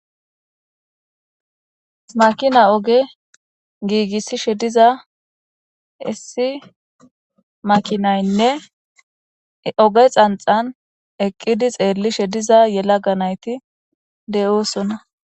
makina oge giigissishe diza issi makinaynne oge xanxan eqqidi xeellishe diza yelaga nayti de'oosonna